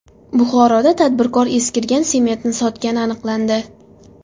Buxoroda tadbirkor eskirgan sementni sotgani aniqlandi.